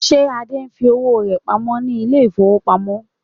Is Ade saving his money in the bank?